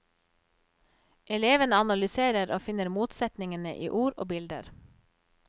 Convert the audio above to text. Elevene analyserer og finner motsetningene i ord og bilder.